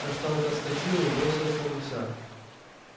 каштанка вскочила и бросилась на гуся